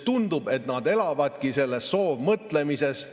Tundub, et nad elavadki sellises soovmõtlemises.